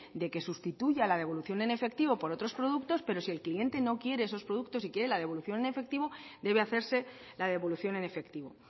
de que sustituya la devolución en efectivo por otros productos pero si el cliente no quiere esos productos y quiere la devolución en efectivo debe hacerse la devolución en efectivo